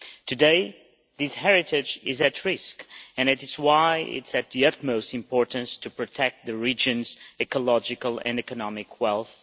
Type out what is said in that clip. Today, this heritage is at risk, and that is why it is of the utmost importance to protect the region's ecological and economic wealth.